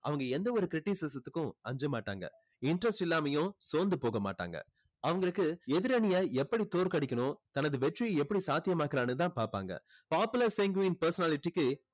அவங்க எந்த ஒரு criticism த்துக்கும் அஞ்ச மாட்டாங்க. interest இல்லாமையும் சோந்து போக மாட்டாங்க. அவங்களுக்கு எதிரணிய எப்படி தோற்கடிக்கணும் தனது வெற்றியை எப்படி சாத்தியமாக்கலான்னு தான் பாப்பாங்க. popular sanguine personality க்கு